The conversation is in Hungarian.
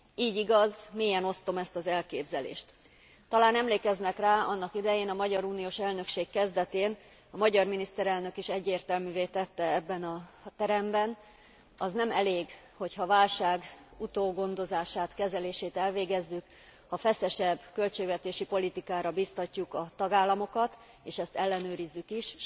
Így igaz, mélyen osztom ezt az elképzelést. Talán emlékeznek rá, annak idején a magyar uniós elnökség kezdetén a magyar miniszterelnök is egyértelművé tette ebben a teremben az nem elég, hogyha a válság utógondozását, kezelését elvégezzük, ha feszesebb költségvetési politikára biztatjuk a tagállamokat, és ezt ellenőrizzük is.